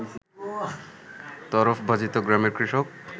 তরফবাজিত গ্রামের কৃষক